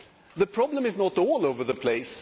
The problem is not all over the place.